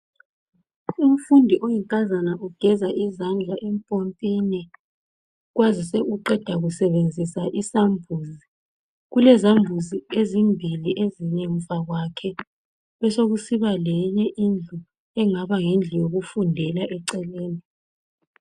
Umfundi oyinkazana ugeza izandla empompini. Kwazise uqeda kusebenzisa isambuzi. Kulezambuzi ezimbili ezingemva kwakhe, besokusiba leyinye indlu engaba yindlu yokufundela eceleni.